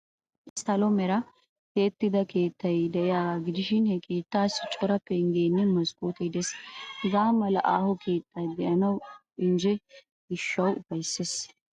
Issi salo meraa tiyettida gita keettay de'iyaagaa gidishin, he keettaassi cora penggeenne maskkootee de'ees. Hagaa mala aaho keettay de'anawu injjetiyo gishshawu ufayssees.